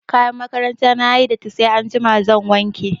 Kayan makaranta na ta yi datti sai anjima zan wanke.